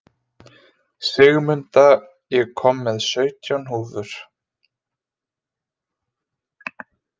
Sigmunda, ég kom með sautján húfur!